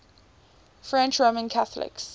french roman catholics